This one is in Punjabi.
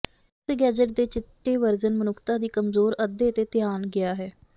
ਉਸੇ ਗੈਜ਼ਟ ਦੇ ਚਿੱਟੇ ਵਰਜਨ ਮਨੁੱਖਤਾ ਦੀ ਕਮਜ਼ੋਰ ਅੱਧੇ ਤੇ ਧਿਆਨ ਗਿਆ ਹੈ